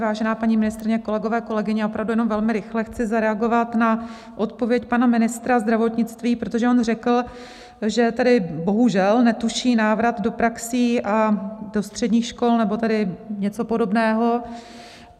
Vážená paní ministryně, kolegové, kolegyně, opravdu jen velmi rychle chci zareagovat na odpověď pana ministra zdravotnictví, protože on řekl, že tedy bohužel netuší návrat do praxí a do středních škol nebo tedy něco podobného.